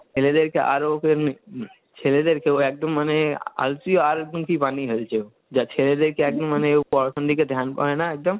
ছেলেদেরকে আরো ওকে, ছেলেদেরকেও একদম মানে বানিয়ে ফেলছে ও, যা ছেলেদেরকে একদম মানে পড়াশোনার দিকে hindi করে না একদম,